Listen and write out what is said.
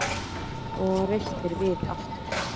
Og reistir við aftur.